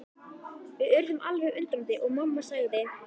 Við urðum alveg undrandi og mamma sagði.